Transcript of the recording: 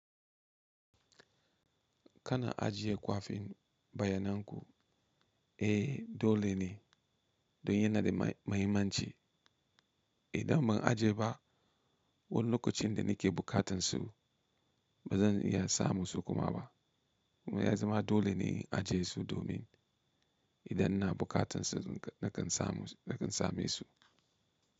Kana ajiye kwafin bayanan ku? Eh dole ne don yana da mahimmanci. Idan ban ajiye ba, wani lokacin da nake bukatan su bazan iya samu su kuma ba. Kuma ya zama dole ne in ajiye su domin idan na bukatan su nakan same su.